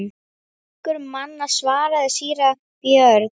Flokkur manna, svaraði síra Björn.